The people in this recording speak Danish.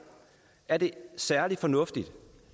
er det særlig fornuftigt